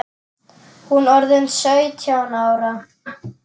Hún orðin sautján ára.